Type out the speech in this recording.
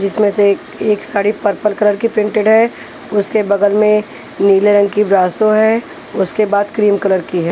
जिसमें से एक एक साड़ी पर्पल कलर की प्रिंटेड है उसके बगल में नीले रंग की ब्रासो है उसके बाद क्रीम कलर की है।